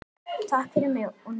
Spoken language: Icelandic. Takk fyrir mig og mína.